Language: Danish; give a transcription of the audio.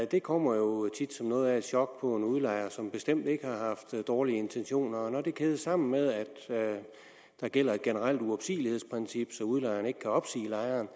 det kommer jo tit som noget af et chok udlejer som bestemt ikke har haft dårlige intentioner når det kædes sammen med at der gælder et generelt uopsigelighedsprincip så udlejeren ikke kan opsige lejeren